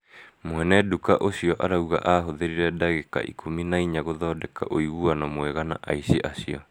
mwene nduka ũcio arauga ahũthĩrire ndagĩka ikumi na inya gũthonndeka ũiguano mwega na aici acio